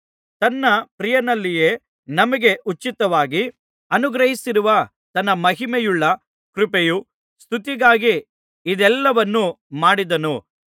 ತನ್ನ ಪ್ರಿಯನಲ್ಲಿಯೇ ನಮಗೆ ಉಚಿತವಾಗಿ ಅನುಗ್ರಹಿಸಿರುವ ತನ್ನ ಮಹಿಮೆಯುಳ್ಳ ಕೃಪೆಯ ಸ್ತುತಿಗಾಗಿ ಇದೆಲ್ಲಾವನ್ನು ಮಾಡಿದನು